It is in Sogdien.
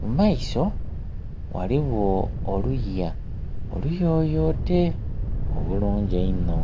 mu maiso ghaligho oluya oluyoyote obulungi einho.